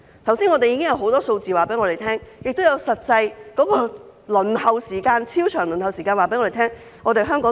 觀乎剛才引述的許多數字，加上超長的實際輪候時間，香港怎可能有足夠醫生？